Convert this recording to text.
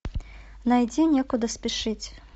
найди некуда спешить